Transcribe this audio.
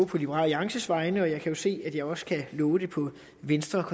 på liberal alliances vegne og jeg kan jo se at jeg også kan love det på venstres